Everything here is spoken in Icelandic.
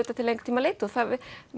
til lengri tíma litið það